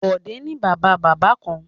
Bọ̀dé ni Bàbá-bàbá kan.